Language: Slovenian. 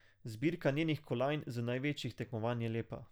Zbirka njenih kolajn z največjih tekmovanj je lepa.